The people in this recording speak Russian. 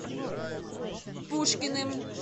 пушкиным